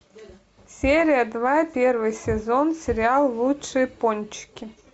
серия два первый сезон сериал лучшие пончики